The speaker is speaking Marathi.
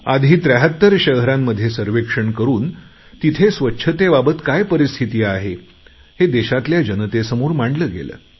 आधी 73 शहरांमध्ये सर्वेक्षण करून तिथे स्वच्छतेबाबत काय परिस्थिती आहे हे देशातल्या जनतेसमोर मांडले गेले